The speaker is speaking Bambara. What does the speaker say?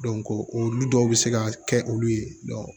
olu dɔw bɛ se ka kɛ olu ye